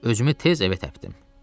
Özümü tez evə təkdim.